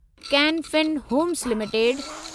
can Fin Homes limited